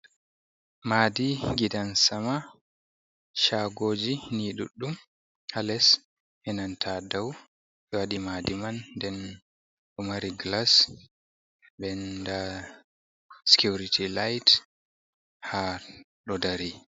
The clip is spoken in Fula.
Madi gidan sama chagoji ni ɗuddum ha les enanta dau ɓe wadi madi man nden do mari glas ɗen da security light ha ɗo dari.